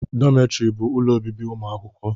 Dọmetiri bụ ụlọ obibi ụmụ akwụkwọ